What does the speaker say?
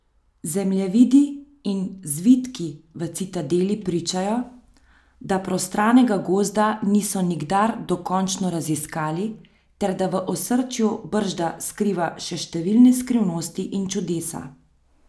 Zemljevidi in zvitki v Citadeli pričajo, da prostranega gozda niso nikdar dokončno raziskali ter da v osrčju bržda skriva še številne skrivnosti in čudesa.